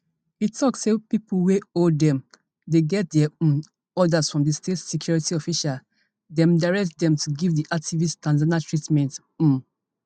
e tok say pipo wey hold dem dey get dia um orders from di state security official dem direct dem to give di activists tanzanian treatment um